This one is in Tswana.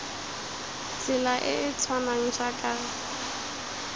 tsela e e tshwanang jaaka